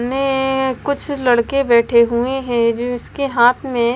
ने कुछ लड़के बैठे हुए हैं जिसके हाथ में--